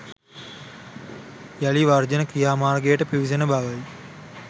යළි වර්ජන ක්‍රියාමාර්ගයකට පිවිසෙන බවයි